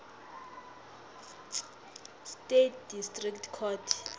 states district court